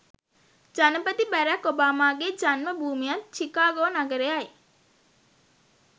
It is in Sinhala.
ජනපති බැරැක් ඔබාමාගේ ජන්ම භූමියත් චිකාගෝ නගරයයි.